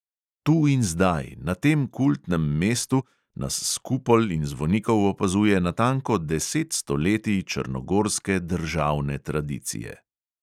Tu in zdaj, na tem kultnem mestu, nas s kupol in zvonikov opazuje natanko deset stoletij črnogorske državne tradicije.